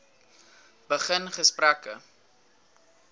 begin gesprekke